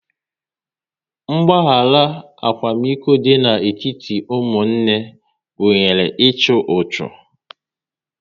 Mgbahara akwamiko dị n'etiti ụmụnne gụnyere ịchụ ọchụ